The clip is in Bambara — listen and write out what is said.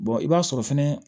i b'a sɔrɔ fɛnɛ